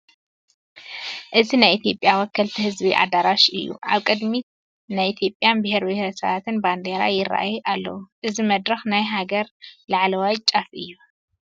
እዚ ናይ ኢትዮጵያ ወከልቲ ህዝቢ ኣዳራሽ እዩ፡፡ ኣብ ቅድሚት ናይ ኢትዮጵያን ብሄር ብሄረሰባትን ባንዲራ ይርአዩ ኣለዉ፡፡ እዚ መድረኽ ናይ ሃገር ላዕለዋይ ጫፍ እዩ፡፡